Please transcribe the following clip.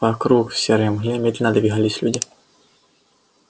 вокруг в серой мгле медленно двигались люди